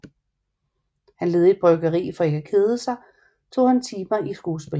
Han ledede et bryggeri og for ikke at kede sig tog han timer i skuespil